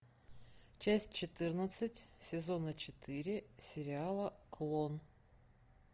часть четырнадцать сезона четыре сериала клон